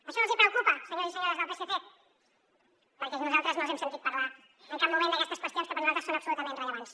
això no els hi preocupa senyors i senyores del psc perquè nosaltres no els hem sentit parlar en cap moment d’aquestes qüestions que per nosaltres són absolutament rellevants